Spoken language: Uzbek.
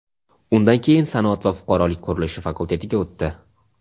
undan keyin sanoat va fuqarolik qurilishi fakultetiga o‘tdi.